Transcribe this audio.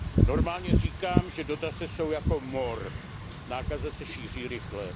Normálně říkám, že dotace jsou jako mor, nákaza se šíří rychle.